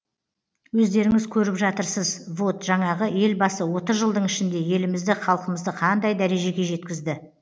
өздеріңіз көріп жатырсыз воот жаңағы елбасы отыз жылдың ішінде елімізді халқымызды қандай дәрежеге жеткізді